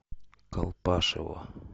колпашево